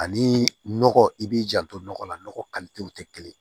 Ani nɔgɔ i b'i janto nɔgɔ la nɔgɔ tɛ kelen ye